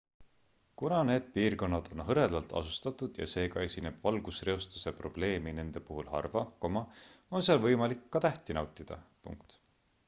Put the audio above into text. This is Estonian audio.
kuna need piirkonnad on hõredalt asustatud ja seega esineb valgusreostuse probleemi nende puhul harva on seal võimalik ka tähti nautida